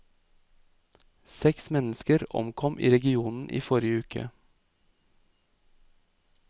Seks mennesker omkom i regionen i forrige uke.